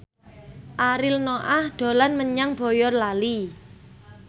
Ariel Noah dolan menyang Boyolali